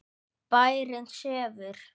Bærinn sefur.